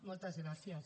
moltes gràcies